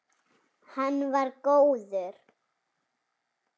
Hann var góður.